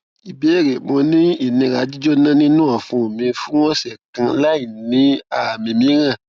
ìbéèrè mo ni inira jíjona ninu ọfun mi fun ọsẹ kan lai si aami miiran